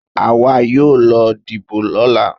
Àwa yóò lọ dìbò lọ́la.